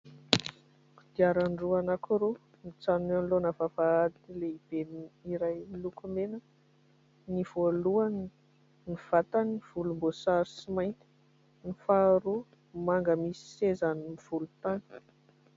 Kodiaran-droa anankiroa mijanona eo anoloana vavahady lehibe iray miloko mena : ny voalohany, ny vatany volombosary sy mainty; ny faharoa manga misy sezany volontany.